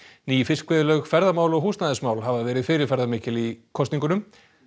ný ferðamál og húsnæðismál hafa verið fyrirferðamikil í kosningunum